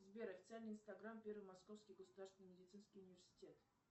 сбер официальный инстаграм первый московский государственный медицинский университет